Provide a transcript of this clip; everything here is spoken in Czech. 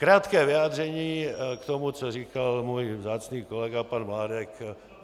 Krátké vyjádření k tomu, co říkal můj vzácný kolega pan Mládek.